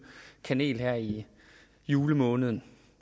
kanel her i julemåneden